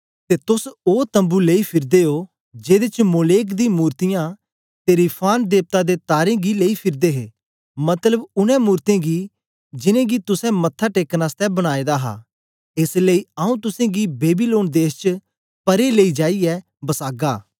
ते तोस ओ तम्बू लेई फिरदे ओ जेदे च मोलेक दी मूर्तियाँ ते रिफान देवता दे तारें गी लेई फिरदे हे मतलब उनै मुरते गी जिनेंगी तुसें मत्था टेकन आसतै बनाए दा हा एस लेई आंऊँ तुसेंगी बेबीलोन देश दे परे लेई जाईयै बसागा